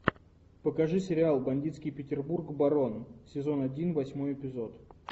покажи сериал бандитский петербург барон сезон один восьмой эпизод